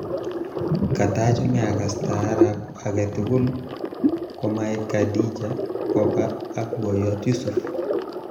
Katachome agas taarab aketugul komaek Khadija Kopa ak boyot Yusuf